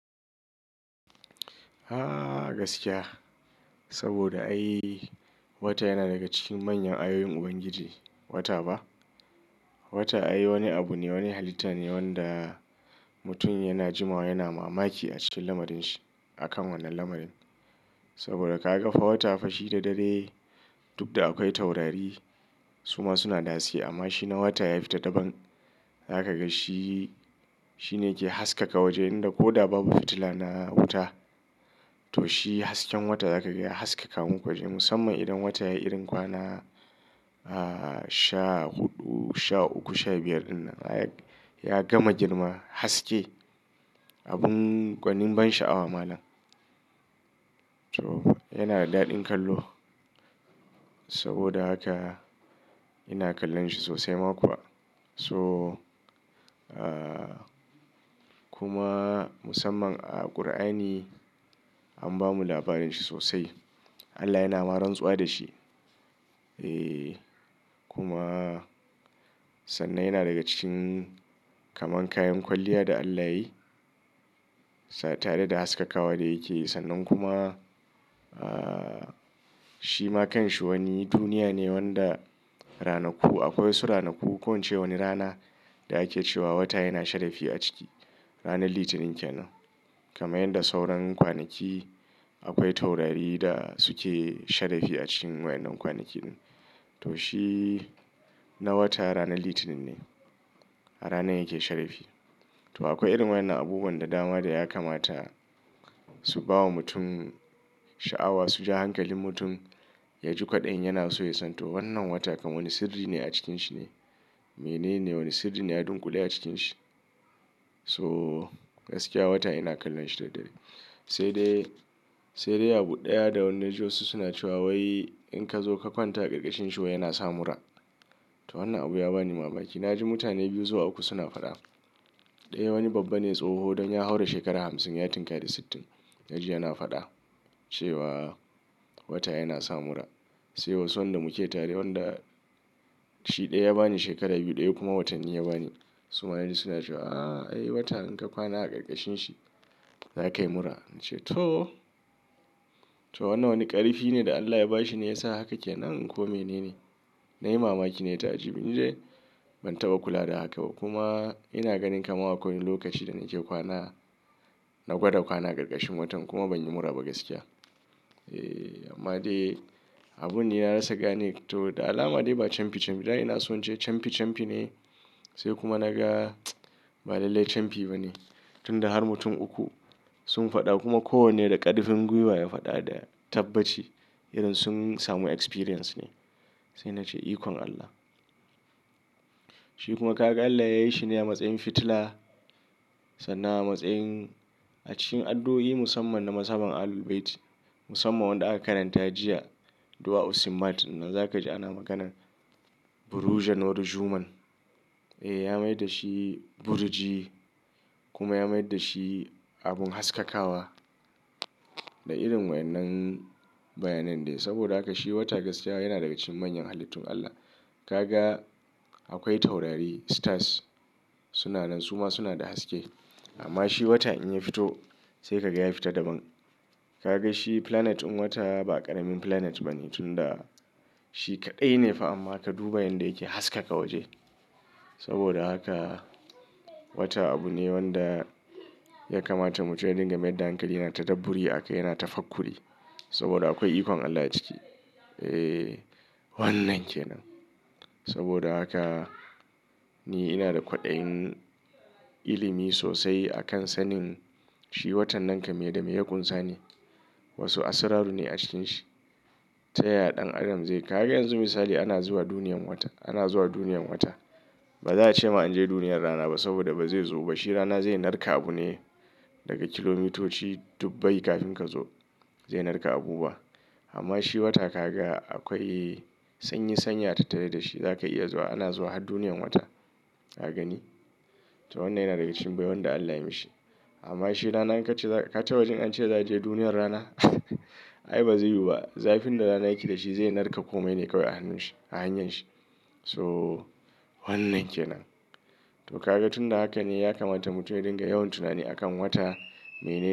Ahh gaskiya saboda ai wata yana daga cikin manyan ayoyin Ubangiji. Wata ba? Wata ai wani abu ne, wani halitta ne wanda mutum yana jimawa yana mamaki a cikin lamarin shi. A kan wannan lamarin. Saboda ka ga fa wata fa shi da dare duk da akwai taurari suma suna dace amma shi na wata ya fita daban. Za ka ga shi, shi ne ke haskaka waje inda koda babu fitila na wuta to shi hasken wata za ka ga ya haskaka muku waje. Musamman idan wata ya yi irin kwana, ah, sha huɗu, sha uku, sha biyar ɗin nan. Ya gama girma haske. Abin gwanin ban sha'awa malam. To yana da daɗin kallo saboda haka ina kallon shi sosai ma kuwa. So, ah, kuma musamman a Kur'ani an bamu labarin shi sosai. Allah yana ma rantsuwa da shi. Eh kuma sannan yana daga cikin kaman kayan kwalliya da Allah ya yi. Tare da haskakawa da yake sannan kuma, ah, shi ma kan shi wani duniya ne wanda ranaku, akwai waɗansu ranaku, ko ince waɗansu rana da ake cewa wata yana sharafi a ciki. Ranar Litinin kenan. Kamar yanda sauran kwanaki akwai taurari da suke sharafi a cikin waɗannan kwanaki ɗin. To shi na wata ranar Litinin ne. Ranar yake sharafi. To akwai irin waɗannan abubuwan da dama da ya kamata su bawa mutum sha'awa su ja hankalin mutum ya ji kwaɗin yana so ya san. To wannan wata kamar wani sirri ne a cikin shi ne. Mene ne wani sirri ne ya dunƙule a cikin shi. So gaskiya wata ina kallon shi da dare. Sai dai, sai dai abu ɗaya da wanni naji wa su suna cewa wai in ka zo ka kwanta a ƙarƙashin shi wai yana sa mura. To wannan abu ya bani mamaki. Na ji mutane biyu zuwa uku suna faɗa. Ɗaya wani babba ne tsoho don ya haura shekara hamsin ya tunkari sittin na ji yana faɗa cewa wata yana sa mura. Sai wasu wanda muke tare wanda shi ɗaya ya bani shekara biyu ɗaya kuma watanni ya bani suma suna cewa "ah ai wata in ka kwana a ƙarƙashin shi za ka yi mura." Na ce to, to wannan wani ƙarifi ne da Allah ya ba shi ne ya sa haka ke nan ko mene ne? Na yi mamaki na yi ta aji. Ni dai ban taɓa kula da haka ba kuma ina ganin kaman akwai wani lokaci da nake kwana na gwada kwana a ƙarƙashin watan kuma ban yi mura ba gaskiya. Eh amma dai abun dai na rasa gane to da alama dai ba camfi camfi. Da ina so in ce camfi camfi ne sai kuma na ga ba lallai camfi ba ne. Tun da har mutum uku sun faɗa kuma kowanne da ƙarfin gwiwa ya faɗa da tabbaci irin sun samu experience ne. Sai na ce ikon Allah. Shi kuma ka ga Allah ya yi shi ne a matsayin fitila sannan a matsayin a cikin addu'o'i musamman na mas'haban Ahlul Bayti. Musamman wanda aka karanta jiya. Dua Usmati. Nan za ka ji ana maganar "Buruj an-Nur al-Zhuman." Eh ya mai da shi burji kuma ya mai da shi abin haskakawa da irin waɗannan bayanan dai. Saboda haka shi wata gaskiya yana daga cikin manyan halittun Allah. Ka ga akwai taurari, stars suna nan suma suna da haske. Amma shi wata in ya fito sai ka ga ya fita daban. Ka ga shi planet ɗin wata ba ƙaramin planet ba ne tun da shi kaɗai ne fa amma ka duba yanda yake haskaka waje. Saboda haka wata abu ne wanda ya kamata mutum ya dinga mai da hankali. Yana tadabburi akai, yana tafaqquri saboda akwai ikon Allah a ciki. Eh wannan ke nan. Saboda haka ni ina da kwaɗayin ilimi sosai a kan sanin shi watan nan kama mai da mai ya kunsa ne. Wasu asrarru ne a cikin shi. Ta yaya ɗan adam zai, ka ga yanzu misali ana zuwa duniyar wata, ana zuwa duniyar wata. Ba za a ce ma in je duniyar rana ba saboda ba zai zo ba. Shi rana zai narka abu ne daga kilomitoci dubbai kafin ka zo zai narka abu ba. Amma shi wata ka ga akwai sanyi sanya tattare da shi. Za ka iya zuwa. Ana zuwa har duniyar wata. Ka gani? To wannan yana daga cikin baiwan da Allah ya mishi. Amma shi rana in ka ce za ka, ka taɓaji an ce za a je duniyar rana ai ba zai yiwu ba. Zafin da rana yake da shi zai narka komai ne kawai a hannun shi, a hanyar shi. So wannan ke nan. To ka ga tun da haka ne ya kamata mutum ya dinga yawan tunani a kan wata. Mene-